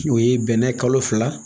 O ye bɛnɛ kalo fila